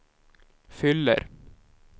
fyller